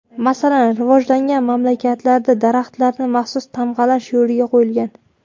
Masalan, rivojlangan mamlakatlarda daraxtlarni maxsus tamg‘alash yo‘lga qo‘yilgan.